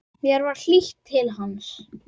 Mér var hlýtt til hans.